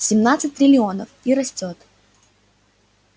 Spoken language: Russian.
семнадцать триллионов и растёт